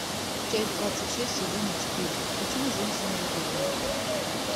часть двадцать шесть сезона четыре почему женщины убивают